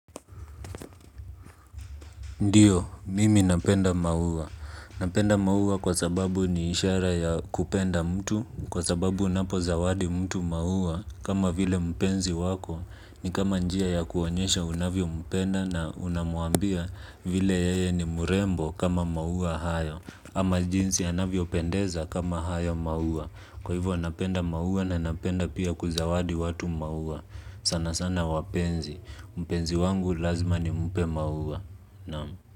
Ndiyo, mimi napenda maua. Napenda maua kwa sababu ni ishara ya kupenda mtu. Kwa sababu unapo zawadi mtu maua, kama vile mpenzi wako ni kama njia ya kuonyesha unavyo mpenda na unamuambia vile yeye ni mrembo kama maua hayo. Ama jinsi anavyo pendeza kama haya maua. Kwa hivyo anapenda maua na anapenda pia kuzawadi watu maua sana sana wapenzi. Mpenzi wangu lazima ni mpe maua.